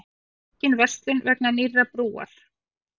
Aukin verslun vegna nýrrar brúar